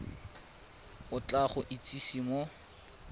o tla go itsise mo